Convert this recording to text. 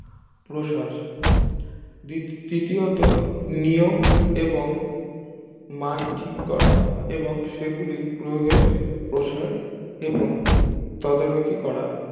প্রসার তৃতীয়ত নিয়ম এবং মান ঠিক করা এবং সেগুলির প্রয়োগের প্রসার এবং তদ্ৰুকি করা